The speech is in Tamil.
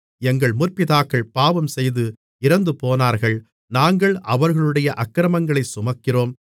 எங்கள் முற்பிதாக்கள் பாவம்செய்து இறந்துபோனார்கள் நாங்கள் அவர்களுடைய அக்கிரமங்களைச் சுமக்கிறோம்